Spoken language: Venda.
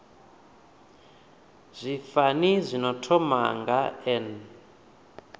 zwifani zwino thoma nga n